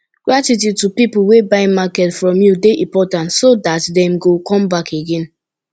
gratitude to pipo wey buy market from you de important so that dem go come back again